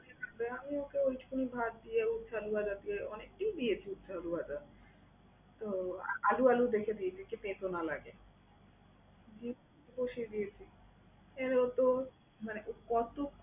দেয়া হলো ওকে উস্তা আলু ভাত দিয়ে উস্তা ভাজা দিয়ে অনেকটাই দিয়েছি উস্তা আলু ভাজা। তো আলু আলু দেখে দিয়েছি যাতে তেতো না লাগে। দিয়ে বসিয়ে দিয়েছি। এবার ও তো মানে কতো